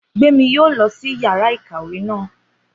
Gbémi yóò lọ sí yàrá náà